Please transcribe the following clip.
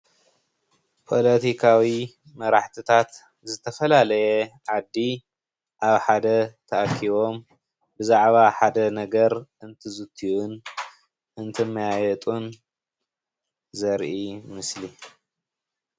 ፖለቲካዊ መራሕትታት ዝተፈላለየ ዓዲ ኣብ ሓደ ተኣኪቦም ብዛዕባ ሓደ ነገር አንትዝትዩን እንትመያየጡን ዘርኢ ምስሊ።